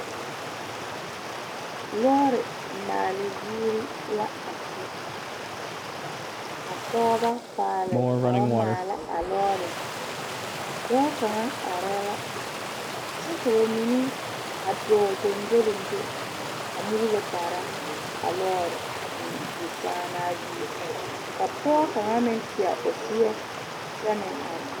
Lɔɔre maale zie la a kyɛ ka pɔɔbɔ paale ka ba maala a lɔɔre dɔɔ kaŋa areɛɛ la kyɛ ka ba mine dɔɔ gyongyoliŋgyo a muulo kaara a lɔɔre sãã naa zie ka pɔɔ kaŋa meŋ tie o seɛ kyɛ meŋ are.